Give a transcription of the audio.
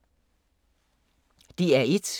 DR1